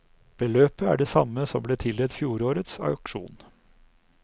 Beløpet er det samme som ble tildelt fjorårets aksjon.